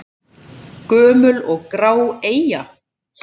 Gömul og grá eyja?